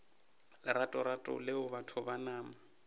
leratorato leo batho ba nama